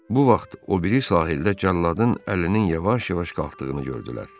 Bu vaxt o biri sahildə cəlladın əlinin yavaş-yavaş qalxdığını gördülər.